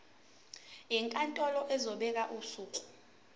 inkantolo izobeka usuku